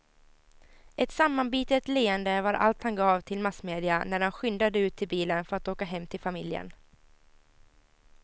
Ett sammanbitet leende var allt han gav till massmedia när han skyndade ut till bilen för att åka hem till familjen.